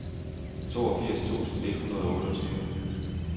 toogfirs tusind et hundrede og otteogtyve